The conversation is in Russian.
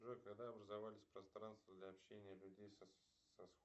джой когда образовались пространства для общения людей с